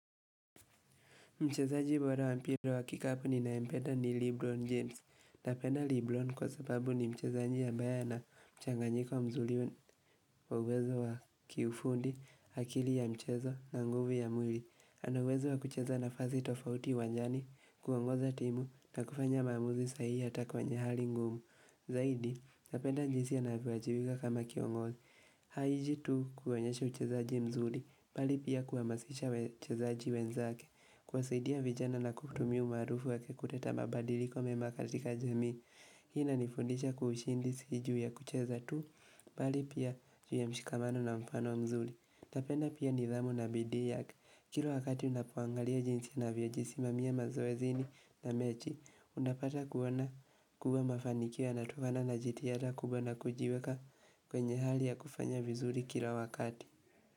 Mchezaji bora wa mpira wa kikapu ninayempenda ni Lebron James. Napenda Lebron kwa sababu ni mchezaji amabye ana mchanganyika wa mzuri wa uwezo wa kiufundi, akili ya mchezo na nguvu ya mwili. Ana uwezo wa kucheza nafasi tofauti uwanjani, kuongoza timu na kufanya maamuzi sahihi hata kwenye hali ngumu. Zaidi, napenda jinsi anavyowajibika kama kiongozi. Haiji tu kuonyesha uchezaji mzuri, bali pia kuhamasisha wachezaji wenzake. Kuwasaidia vijana na kutumia umaarufu wake kutetea mabadiliko mema katika jamii Hii inanifundisha kuwa ushindi si juu ya kucheza tu Bali pia juu ya mshikamano na mfano mzuri. Napenda pia nidhamu na bidii yake. Kila wakati ninapoangalia jinsi ninavyajisimamia mazoezini na mechi, unapata kuona kubwa mafanikio yanatumana na jitihada kubwa na kujiweka kwenye hali ya kufanya vizuri kila wakati.